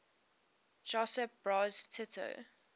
josip broz tito